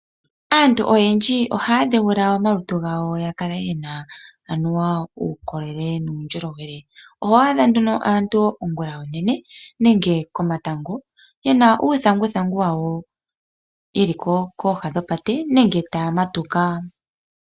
Aantu oyendji oha yadheula omalutu gawo gakale gena anuwa uukolele. Oho adha nduno aantu ongula onene nenge komatango ye na uuthanguthangu wawo ye li kooha dhopate nenge taya matuka.